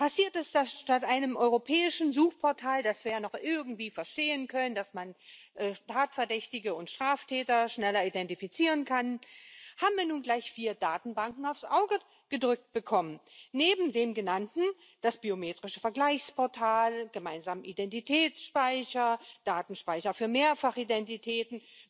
Passiert ist, dass wir statt einem europäischen Suchportal was wir ja noch irgendwie verstehen könnten, damit man Tatverdächtige und Straftäter schneller identifizieren kann nun gleich vier Datenbanken aufs Auge gedrückt bekommen haben neben den genannten das biometrische Vergleichsportal, den gemeinsamen Identitätsspeicher, den Datenspeicher für Mehrfachidentitäten.